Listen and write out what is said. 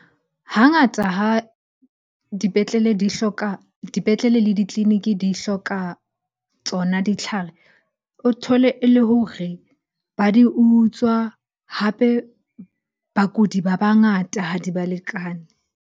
Hangata ha dipetlele di hloka, dipetlele le ditleliniki di hloka tsona ditlhare. O thole e le hore ba di utswa, hape bakudi ba bangata ha di balekane.